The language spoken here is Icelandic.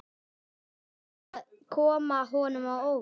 Þetta á að koma honum á óvart.